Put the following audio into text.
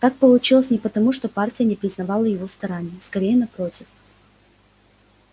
так получилось не потому что партия не признавала его стараний скорее напротив